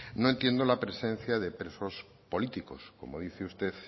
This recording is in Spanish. no entiendo la presencia de presos políticos como dice usted